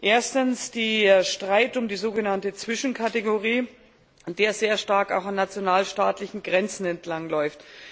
Erstens, den Streit um die sogenannte Zwischenkategorie, der sehr stark auch an nationalstaatlichen Grenzen entlangläuft.